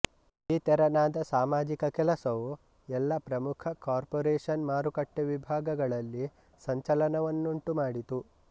ಈ ತೆರನಾದ ಸಾಮಾಜಿಕ ಕೆಲಸವು ಎಲ್ಲಾ ಪ್ರಮುಖ ಕಾರ್ಪೊರೇಶನ್ ಮಾರುಕಟ್ಟೆ ವಿಭಾಗಗಳಲ್ಲಿ ಸಂಚಲನವನ್ನುಂಟು ಮಾಡಿತು